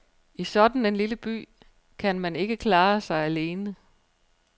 I sådan en lille by kan man ikke klare sig alene.